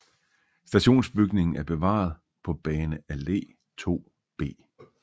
Stationsbygningen er bevaret på Bane Alle 2 B